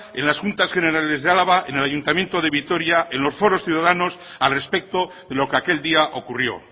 en las juntas generales de álava en el ayuntamiento de vitoria en los foros ciudadanos al respecto de lo que aquel día ocurrió